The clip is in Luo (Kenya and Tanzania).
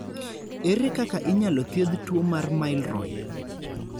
Ere kaka inyalo thiedh tuwo mar Milroy?